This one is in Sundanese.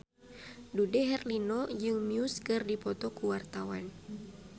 Dude Herlino jeung Muse keur dipoto ku wartawan